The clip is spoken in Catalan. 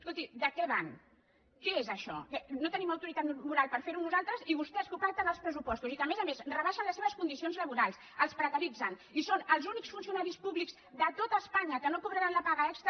escolti de què van què és això no tenim autoritat moral per fer ho nosaltres i vostès que ho pacten als pressupostos i que a més a més rebaixen les seves condicions laborals els precaritzen i són els únics funcionaris públics de tot espanya que no cobraran la paga extra